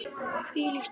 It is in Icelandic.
Hvílíkt fólk!